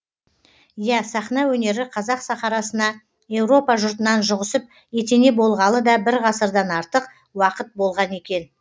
иә сахна өнері қазақ сахарасына еуропа жұртынан жұғысып етене болғалы да бір ғасырдан артық уақыт болған екен